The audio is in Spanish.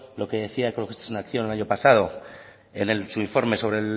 lo que decía ecologistas en acción el año pasado en su informe sobre